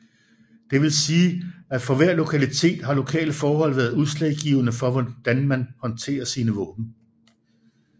Det vil sige at for hver lokalitet har lokale forhold været udslagsgivende for hvordan man håndterer sine våben